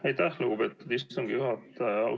Aitäh, lugupeetud istungi juhataja!